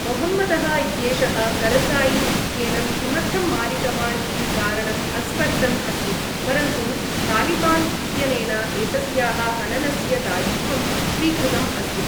मोहम्मदः इत्येषः करज़ायि इत्येनं किमर्थम् मारितवान् इति कारणम् अस्पष्टम् अस्ति, परन्तु तालिबान् इत्यनेन एतस्याः हननस्य दायित्वं स्वीकृतम् अस्ति।